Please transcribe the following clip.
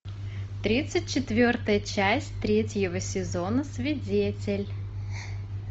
тридцать четвертая часть третьего сезона свидетель